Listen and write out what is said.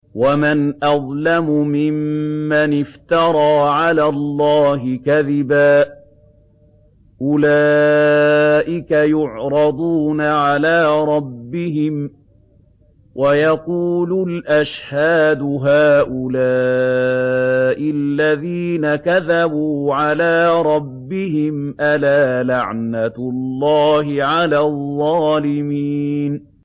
وَمَنْ أَظْلَمُ مِمَّنِ افْتَرَىٰ عَلَى اللَّهِ كَذِبًا ۚ أُولَٰئِكَ يُعْرَضُونَ عَلَىٰ رَبِّهِمْ وَيَقُولُ الْأَشْهَادُ هَٰؤُلَاءِ الَّذِينَ كَذَبُوا عَلَىٰ رَبِّهِمْ ۚ أَلَا لَعْنَةُ اللَّهِ عَلَى الظَّالِمِينَ